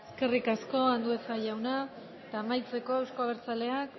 eskerrik asko andueza jauna eta amaitzeko euzko abertzaleak